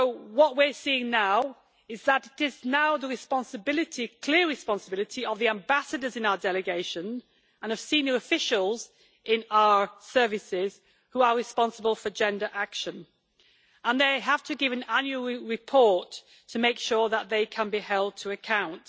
What we are seeing now is that it is now the clear responsibility of the ambassadors in our delegation, and of senior officials in our services, who are responsible for gender action, and they have to give an annual report to make sure that they can be held to account.